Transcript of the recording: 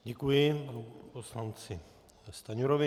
Děkuji panu poslanci Stanjurovi.